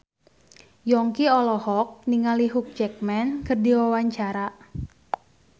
Yongki olohok ningali Hugh Jackman keur diwawancara